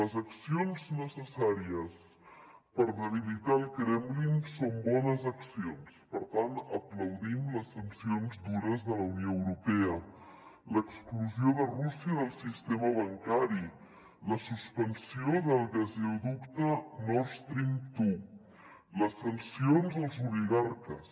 les accions necessàries per debilitar el kremlin són bones accions per tant aplaudim les sancions dures de la unió europea l’exclusió de rússia del sistema bancari la suspensió del gasoducte north stream dos les sancions als oligarques